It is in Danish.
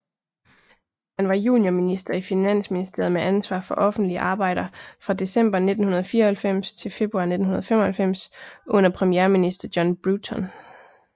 Han var juniorminister i finansministeriet med ansvar for offentlige arbejder fra december 1994 til februar 1995 under premierminister John Bruton